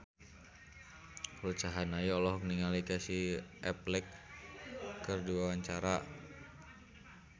Ruth Sahanaya olohok ningali Casey Affleck keur diwawancara